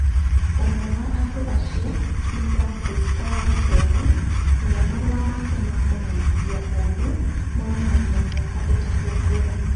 Ũmwe wa andũ acio nĩ Francis Paul Kerre ũrĩa marũa make ma kũmenyithia mũndũ monanagia mĩaka ĩtatũ ngũrani.